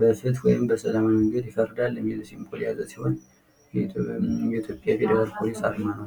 በፍትህ ወይም በሰላም ይፈርዳል የሚል ሲምቦል ነው።